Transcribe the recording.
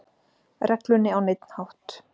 reglunni á neinn hátt.